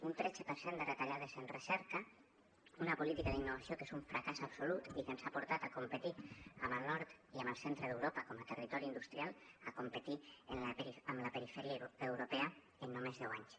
un tretze per cent de retallades en recerca una política d’innovació que és un fracàs absolut i que ens ha portat de competir amb el nord i amb el centre d’europa com a territori industrial a competir amb la perifèria europea en només deu anys